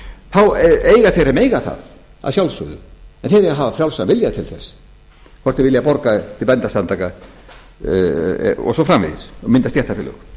þá eiga þeir að mega það að sjálfsögðu en þeir eiga að hafa frjálsan vilja til þess hvort þeir vilja borga til bændasamtaka og mynda stéttarfélög